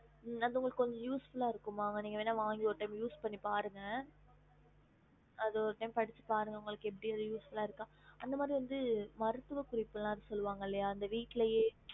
ஹம்